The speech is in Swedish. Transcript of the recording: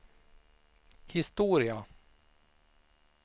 historia